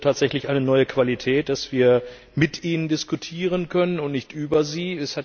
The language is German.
Es ist tatsächlich eine neue Qualität, dass wir mit Ihnen diskutieren können und nicht über Sie.